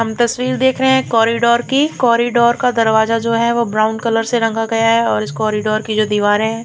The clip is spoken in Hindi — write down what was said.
हम तस्वीर देख रहे है एक कॉरिडोर की कॉरिडोर का दरवाजा जो है ब्राउन कलर से रंगा गया है और इस कॉरिडोर की जो दीवारें हैं --